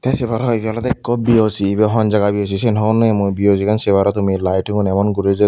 se parow hoidey ibey oley ekko B_O_C ebey hon jaga obow hijeni hon nopem mui B_O_C gan sei paro tumi lyting un emon guri joi.